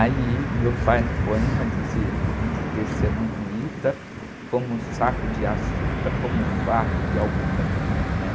Aí, meu pai, no poema, disse, vim de Terceira no, no Ita, como um saco de açúcar, como um fardo de algodão.